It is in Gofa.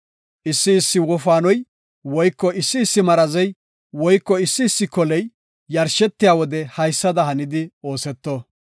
“Issi issi wofaanoy woyko issi issi marazey woyko issi issi koley yarshetiya wode haysada hanidi ooseto.